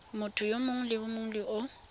motho mongwe le mongwe o